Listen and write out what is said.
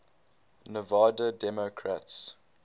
nevada democrats